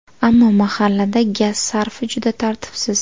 Ammo mahallada gaz sarfi juda tartibsiz.